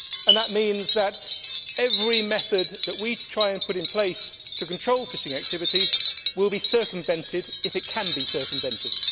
That means that every method that we try to put in place to control fishing activity will be circumvented if it can be circumvented.